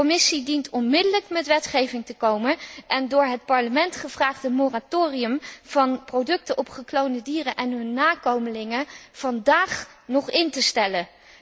De Commissie dient onmiddellijk met wetgeving te komen en het door het Parlement gevraagde moratorium op producten van gekloonde dieren en hun nakomelingen vandaag nog in te stellen.